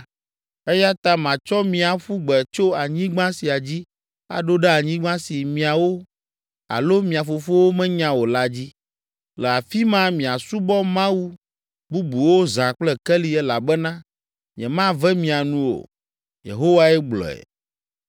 Eya ta matsɔ mi aƒu gbe tso anyigba sia dzi aɖo ɖe anyigba si miawo alo mia fofowo menya o la dzi. Le afi ma miasubɔ Mawu bubuwo zã kple keli elabena nyemave mia nu o” Yehowae gblɔe.